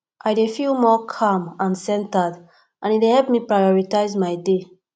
i dey feel more calm and centered and e dey help me to prioritize my day